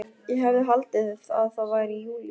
Ég hefði haldið að það væri júlí.